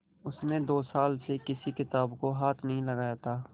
उसने दो साल से किसी किताब को हाथ नहीं लगाया था